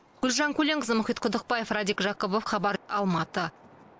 гүлжан көленқызы мұхит құдықбаев радик жакупов хабар алматы